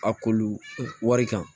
A kolu wari kan